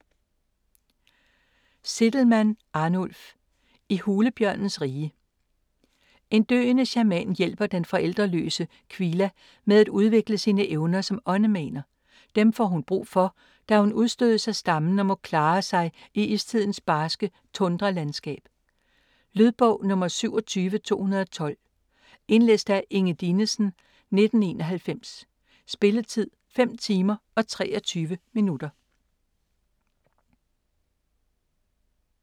Zitelmann, Arnulf: I hulebjørnens rige En døende shaman hjælper den forældreløse Qila med at udvikle sine evner som åndemaner. Dem får hun brug for, da hun udstødes af stammen og må klare sig i istidens barske tundralandskab. Lydbog 27212 Indlæst af Inge Dinesen, 1991. Spilletid: 5 timer, 23 minutter.